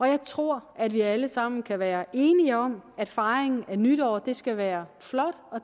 jeg tror at vi alle sammen kan være enige om at fejring af nytår skal være flot og